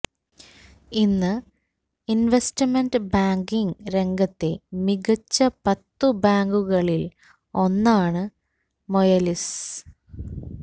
ഇന്ന് investment banking രംഗത്തെ മികച്ച പത്തു ബാങ്കുകളിൽ ഒന്നാണ് മൊയലിസ്